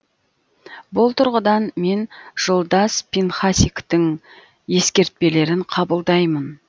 бұл тұрғыдан мен жолдас пинхасиктің ескертпелерін қабылдаймын